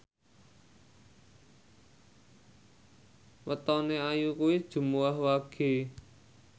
wetone Ayu kuwi Jumuwah Wage